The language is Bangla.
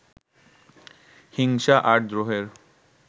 হিংসা আর দ্রোহের